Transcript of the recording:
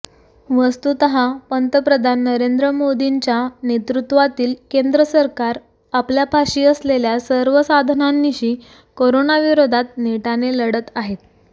वस्तुतः पंतप्रधान नरेंद्र मोदींच्या नेतृत्वातील केंद्र सरकार आपल्यापाशी असलेल्या सर्व साधनांनिशी कोरोनाविरोधात नेटाने लढत आहे